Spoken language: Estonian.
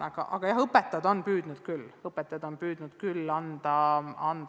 Igal juhul õpetajad on püüdnud harjutusi anda.